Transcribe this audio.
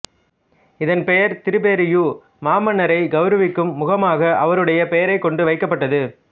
இதன் பெயர் திபேரியு மாமன்னரை கௌரவிக்கும் முகமாக அவருடைய பெயரைக் கொண்டு வைக்கப்பட்டது